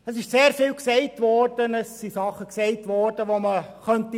Es ist vieles gesagt worden, auch Dinge, die man widerlegen könnte.